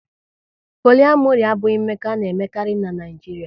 Poliamori abụghị mmekọ a na-emekarị n'Naijiria